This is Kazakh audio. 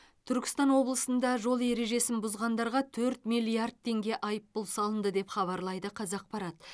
түркістан облысында жол ережесін бұзғандарға төрт миллиард теңге айыппұл салынды деп хабарлайды қазақпарат